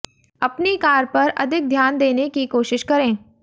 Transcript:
अपनी कार पर अधिक ध्यान देने की कोशिश करें